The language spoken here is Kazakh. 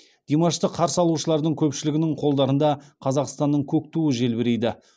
димашты қарсы алушылардың көпшілігінің қолдарында қазақстанның көк туы желбірейді